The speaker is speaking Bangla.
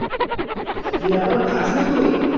তুই এখনো খাস নি তুই